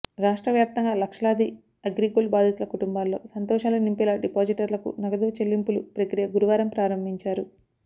రాష్ట్ర వ్యాప్తంగా లక్షలాది అగ్రిగోల్డ్ బాధితుల కుటుంబాల్లో సంతోషాలు నింపేలా డిపాజిటర్లకు నగదు చెల్లింపులు ప్రక్రియ గురువారం ప్రారంభించారు